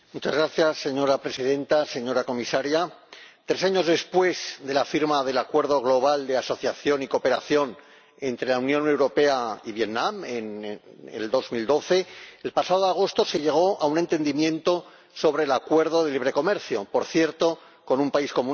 Señora Presidenta, señora Comisaria, tres años después de la firma del Acuerdo Marco Global de Asociación y Cooperación entre la Unión Europea y Vietnam en 2012, el pasado agosto se llegó a un entendimiento sobre el Acuerdo de Libre Comercio ―por cierto, con un país comunista―.